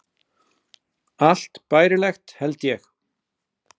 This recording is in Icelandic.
Allt bærilegt, held ég.